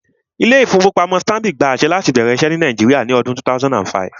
Ilé-ìfowópamọ́sí Stanbic gba àṣẹ láti bẹ̀rẹ̀ iṣẹ́ ní Nàìjíríà ní ọdún 2005